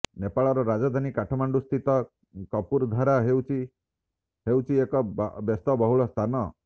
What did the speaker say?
ନେପାଳର ରାଜଧାନୀ କାଠମାଣ୍ଡୁସ୍ଥିତ କପୁରଧରା ହେଉଛି ହେଉଛି ଏକ ବ୍ୟସ୍ତବହୁଳ ସ୍ଥାନ